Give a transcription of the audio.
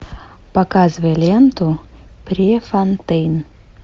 показывай ленту префонтейн